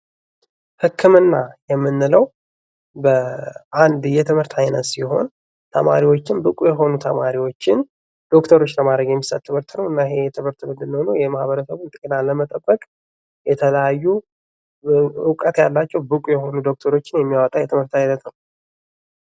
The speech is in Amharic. ህክምና የምንለው አንድ የትምህርት አይነት ሲሆን ተማሪዎችን ብቁ የሆኑ ተማሪዎችን ዶክተሮች ለማድረግ የሚሰጥ ትምህርት ነው እና ይሄ ትምህርት የማህበረሰቡን ጤና ለመጠበቅ የተለያዩ እውቀት ያላቸው ብቁ የሆኑ ዶክተሮችን የሚያወጣ የትምህርት አይነት ነው።